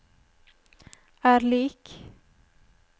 er lik